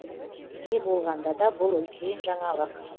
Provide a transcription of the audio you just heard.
не болғанда да бұл үлкен жаңалық